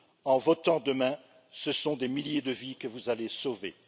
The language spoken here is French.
En votant demain, ce sont des milliers de vies que vous allez sauver.